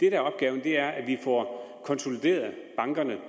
er opgaven er at vi får konsolideret bankerne